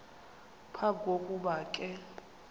phambi kokuba ke